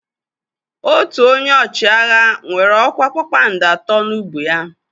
Otu onye ọchịagha nwere ọkwa kpakpando atọ n'ubu ya.